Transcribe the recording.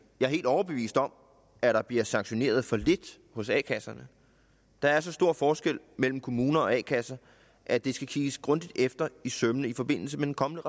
er helt overbevist om at der bliver sanktioneret for lidt hos a kasserne der er så stor forskel mellem kommuner og a kasser at det skal kigges grundigt efter i sømmene i forbindelse med den kommende